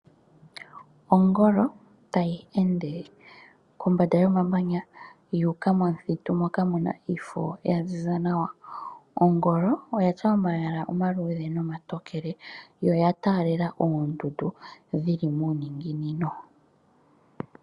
Ongolo, tayi ende kombanda yomamanya yuuka momuthitu moka muna iifo yaziza nawa. Ongolo oyatya omayala omaluudhe nomatokele, yo oyataalela oondundu dhili muuninginino.